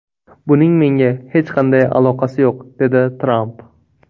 Buning menga hech qanday aloqasi yo‘q”, dedi Tramp.